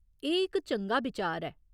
एह् इक चंगा बिचार ऐ।